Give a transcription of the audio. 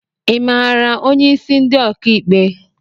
I mara onye isi ndi ọka ikpe?